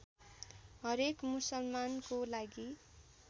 हरेक मुसलमानको लागि